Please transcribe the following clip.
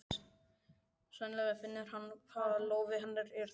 Sennilega finnur hann hvað lófi hennar er þvalur.